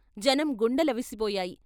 జనం గుండెలవిసిపోయాయి.